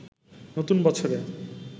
নতুন বছরে